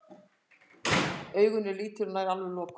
Augun eru lítil og nær alveg lokuð.